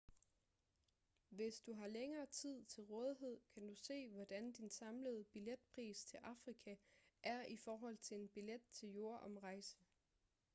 hvis du har længere tid til rådighed kan du se hvordan din samlede billetpris til afrika er i forhold til en billet til jordomrejse